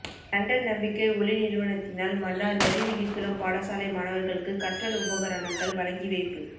London நம்பிக்கை ஒளி நிறுவனத்தினால் மன்னார் நறுவிழிக்குளம் பாடசாலை மாணவர்களுக்கு கற்றல் உபகரணங்கள் வழங்கிவைப்பு